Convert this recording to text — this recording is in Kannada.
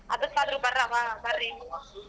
ಅದಕ್ಕಾದರೂ ಬರ್ರವ್ವ ಬರ್ರಿ.